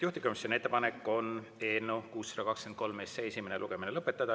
Juhtivkomisjoni ettepanek on eelnõu 623 esimene lugemine lõpetada.